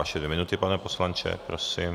Vaše dvě minuty, pane poslanče, prosím.